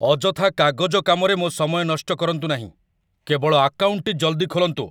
ଅଯଥା କାଗଜ କାମରେ ମୋ' ସମୟ ନଷ୍ଟ କରନ୍ତୁ ନାହିଁ। କେବଳ ଆକାଉଣ୍ଟଟି ଜଲଦି ଖୋଲନ୍ତୁ!